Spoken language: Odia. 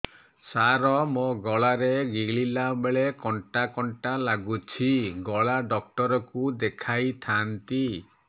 ସାର ମୋ ଗଳା ରେ ଗିଳିଲା ବେଲେ କଣ୍ଟା କଣ୍ଟା ଲାଗୁଛି ଗଳା ଡକ୍ଟର କୁ ଦେଖାଇ ଥାନ୍ତି